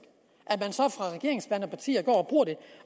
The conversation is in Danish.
at partier går